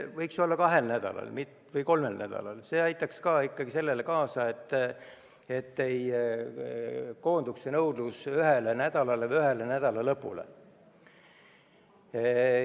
Võiks olla kahel või kolmel nädalal, see aitaks samuti kaasa sellele, et nõudlus ei koonduks ühele nädalale või ühele nädalalõpule.